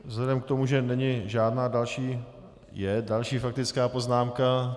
Vzhledem k tomu, že není žádná další - je další faktická poznámka.